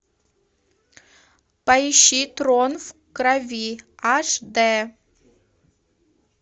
поищи трон в крови аш дэ